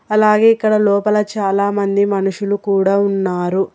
అలాగే ఇక్కడ లోపల చాలామంది మనుషులు కూడా ఉన్నారు.